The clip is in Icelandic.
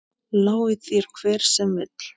Lái þér hver sem vill.